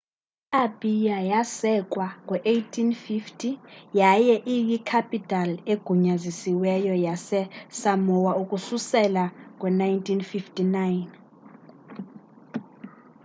i apia yasekwa ngo 1850s yaye iyi capital egunyazisiweyo yase of samoa ukususela ngo 1959